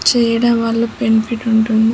--చేయడం వాళ్ళ బెన్ఫిట్ ఉంటుంది.